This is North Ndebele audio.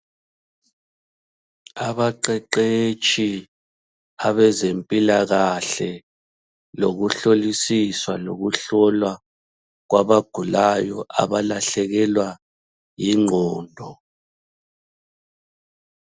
Abaqeqetshi abezempilakahle lokuhlolisiswa lokuhlola kwabagulayo abakahlekelwa yingqondo.